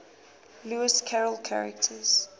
lewis carroll characters